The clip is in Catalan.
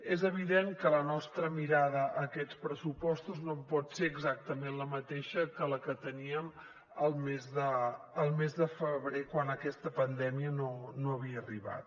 és evident que la nostra mirada a aquests pressupostos no pot ser exactament la mateixa que la que teníem al mes de febrer quan aquesta pandèmia no havia arribat